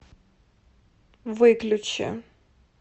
выключи